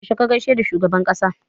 Yaushe ka gaishe da shugaban ƙasa?